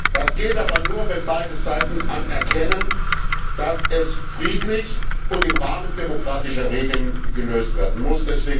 Das geht aber nur, wenn beide Seiten anerkennen, dass dies friedlich und im Rahmen demokratischer Regeln gelöst werden muss.